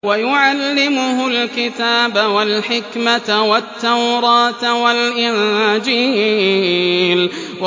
وَيُعَلِّمُهُ الْكِتَابَ وَالْحِكْمَةَ وَالتَّوْرَاةَ وَالْإِنجِيلَ